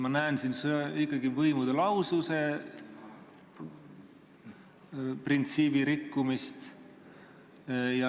Ma näen siin ikkagi võimude lahususe printsiibi rikkumist.